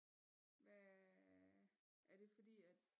Hvad er det fordi at